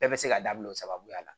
Bɛɛ bɛ se k'a dabila o sababuya la